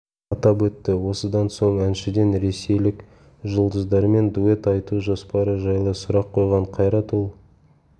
атап өтті осыдан соң әншіден ресейлік жұлдыздармен дуэт айту жоспары жайлы сұрақ қойған қайрат ол